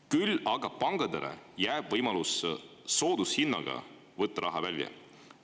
Küll aga jääb pankadele võimalus soodushinnaga raha välja võtta.